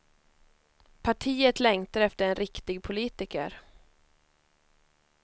Partiet längtar efter en riktig politiker.